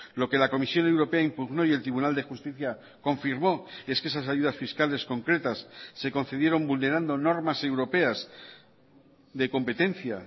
lo que la comisión europea impugnó y el tribunal de justicia confirmó es que esas ayudas fiscales concretas se concedieron vulnerando normas europeas de competencia